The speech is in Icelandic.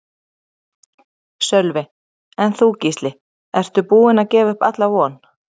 Sölvi: En þú Gísli, ertu búinn að gefa upp alla von?